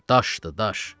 daşdır, daş.